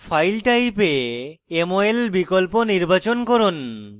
file type এ গিয়ে mol বিকল্প নির্বাচন করুন